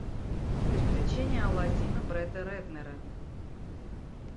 приключения аладдина бретта рэтнера